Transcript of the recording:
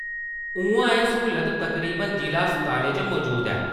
उ'आं एह् सहुलत तकरीबन जि'ला अस्पतालें च मजूद ऐ ।